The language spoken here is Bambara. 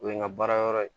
O ye n ka baara yɔrɔ ye